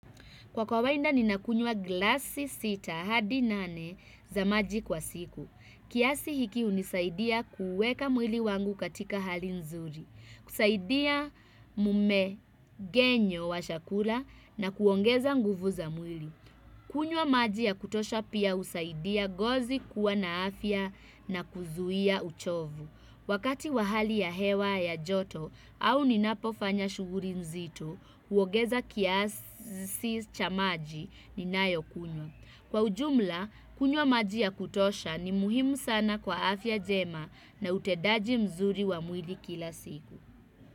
Kwa kawaida ninakunywa glasi sita hadi nane za maji kwa siku. Kiasi hiki hunisaidia kuweka mwili wangu katika hali nzuri. Kusaidia mumengenyo wa chakula na kuongeza nguvu za mwili. Kunywa maji ya kutosha pia husaidia ngozi kuwa na afya na kuzuia uchovu. Wakati wa hali ya hewa ya joto au ni napofanya shughuli nzito. Huongeza kiasi cha maji ninayo kunywa. Kwa ujumla kunywa maji ya kutosha ni muhimu sana kwa afya njema na utedaji mzuri wa mwili kila siku.